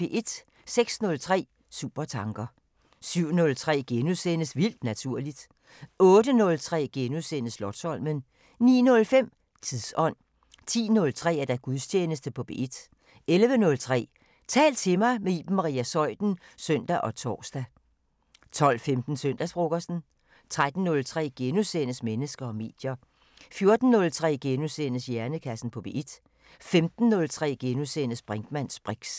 06:03: Supertanker 07:03: Vildt naturligt * 08:03: Slotsholmen * 09:05: Tidsånd 10:03: Gudstjeneste på P1 11:03: Tal til mig – med Iben Maria Zeuthen (søn og tor) 12:15: Søndagsfrokosten 13:03: Mennesker og medier * 14:03: Hjernekassen på P1 * 15:03: Brinkmanns briks *